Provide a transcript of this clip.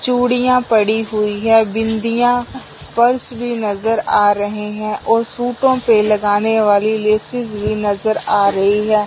चूड़ियां पड़ी हुई है बिंदिया पर्स भी नजर आ रहे हैं और सूटों पे लगाने वाली लेसेस भी नजर आ रही है।